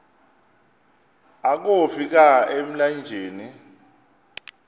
akofi ka emlanjeni